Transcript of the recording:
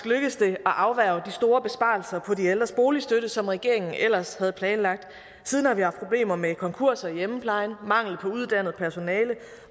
lykkedes det at afværge de store besparelser på de ældres boligstøtte som regeringen ellers havde planlagt siden har vi haft problemer med konkurser i hjemmeplejen mangel på uddannet personale